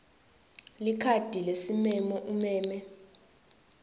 likhadi lesimemo umeme